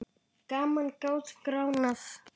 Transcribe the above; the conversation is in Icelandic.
Gamanið gat gránað.